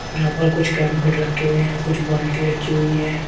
यहां पर कुछ कैंपेड रखे हुए है कुछ बाल्टी रखी हुई है।